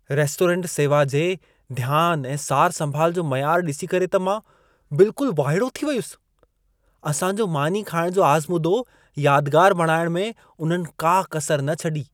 Restaurant सेवा जे ध्यान ऐं सारसंभाल जो मयारु ॾिसी करे त मां बिल्कुल वाइड़ो थी वयुसि। असां जो मानी खाइणु जो आज़मूदो यादगार बणाइणु में उन्हनि का कसर न छॾी।